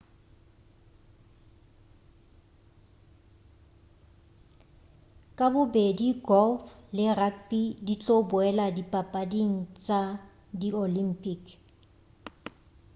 ka bobedi golf le rugby di tlo boela dipapading tša di olympic